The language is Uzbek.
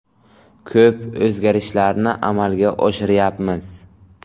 Ko‘p o‘zgarishlarni amalga oshiryapmiz.